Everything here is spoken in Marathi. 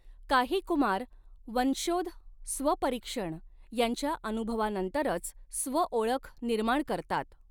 काही कुमार वंशोध स्वपरीक्षण याच्या अनुभवानंतरच स्वओळख निर्माण करतात.